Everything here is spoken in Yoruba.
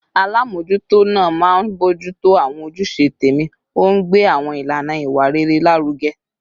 Alámòójútó náà máa ń bójú tó àwọn ojúṣe tẹ̀mí, ó ń gbé àwọn ìlànà ìwà rere lárugẹ